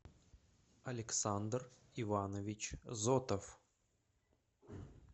александр иванович зотов